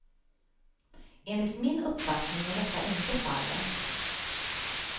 Enligt min uppfattning är detta inte fallet.